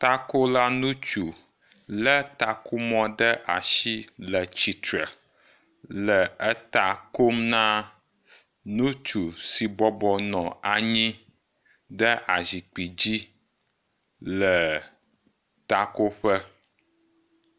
Takola ŋutsu lé takomɔ ɖe asi le tsitre le eta kom na ŋutsu si bɔbɔ nɔ anyi ɖe azikpi dzi le takoƒe.